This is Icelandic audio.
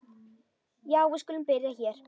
Já, við skulum byrja hér.